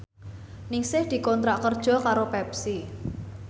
Ningsih dikontrak kerja karo Pepsi